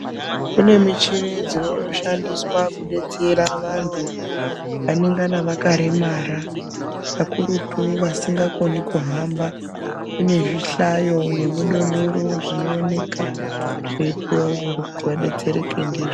Kune michini dzinoshandiswa kudetsera vantu vanengana vakaremara kakurutu vasingakoni kuhamba kune zvihlayo nemudondoro zvinooneka zveipuwe vantu kuti vadetsereke ndizvo.